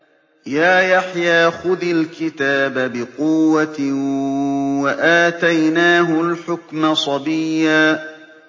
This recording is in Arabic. يَا يَحْيَىٰ خُذِ الْكِتَابَ بِقُوَّةٍ ۖ وَآتَيْنَاهُ الْحُكْمَ صَبِيًّا